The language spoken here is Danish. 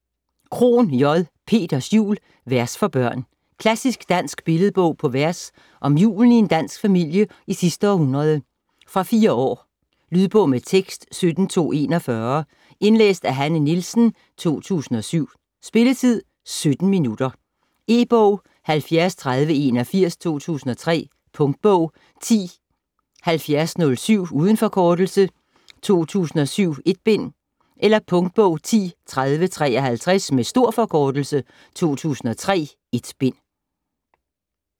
Krohn, J.: Peters jul: vers for børn Klassisk dansk billedbog på vers om julen i en dansk familie i sidste århundrede. Fra 4 år. Lydbog med tekst 17241 Indlæst af Hanne Nielsen, 2007. Spilletid: 0 timer, 17 minutter. E-bog 703081 2003. Punktbog 107007 - uden forkortelse 2007, 1 bind. Punktbog 103053 - med stor forkortelse 2003.1 bind.